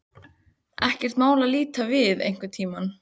Ekkert mál að líta við einhvern tíma.